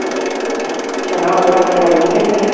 ਸਨਾ ਉਹਦੇ ਲਾਗੇ ਆਈ ਸੀ ਕਿ ਨਹੀਂ?